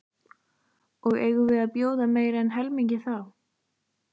Og eigum við að bjóða meira en helmingi það?